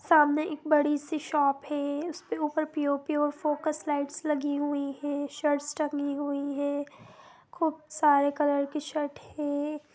सामने एक बड़ी सी शॉप है उसके ऊपर पि_ओ_पि_ओ फोकोस लाईट लगी हुयी है शर्ट्स टंगी हुयी है खूब सारे कलर की शर्ट है।